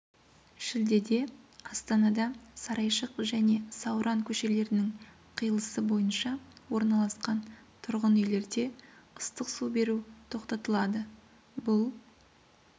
шілдеде астанада сарайшық және сауран көшелерінің қиылысы бойынша орналасқан тұрғын үйлерде ыстық су беру тоқтатылады бұл